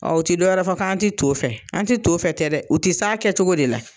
Ɔ u ti dɔwɛrɛ fɔ k'an ti to fɛ an ti to fɛ tɛ dɛ u ti s'a kɛcogo de la